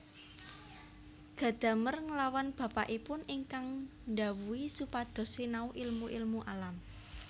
Gadamer nglawan bapakipun ingkang ndhawuhi supados sinau ilmu ilmu alam